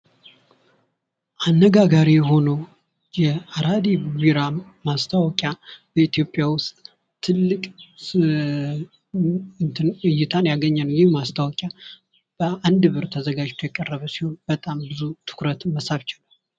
አነጋጋሪ የሆነው አራዴድደራም ማስታወቂያ በኢትዮጵያ ውስጥ ትልቅ እይታን ያገኘ ነው። ይህ ማስታወቂያ በአንድ ብር ተዘጋጅቶ የቀረበ ሲሆን በጣም ብዙ ትኩረትን መሳብ ችሏል።